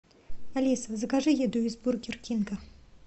алиса закажи еду из бургер кинга